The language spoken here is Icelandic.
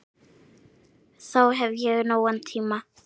Þá hef ég nógan tíma.